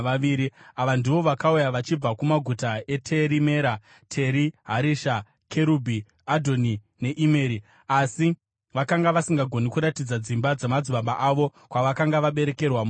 Ava ndivo vakauya vachibva kumaguta eTeri Mera, Teri Harisha, Kerubhi, Adhoni neImeri, asi vakanga vasingagoni kuratidza dzimba dzamadzibaba avo kwavakanga vakaberekerwa muIsraeri: